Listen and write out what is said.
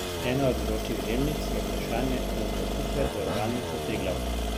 Ena od vročih žemljic je vprašanje razvrstitve Zavarovalnice Triglav.